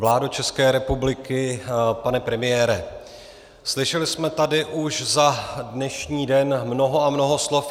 Vládo České republiky, pane premiére, slyšeli jsme tady už za dnešní den mnoho a mnoho slov.